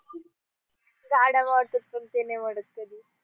झाडावर सूर सूर वडद गेली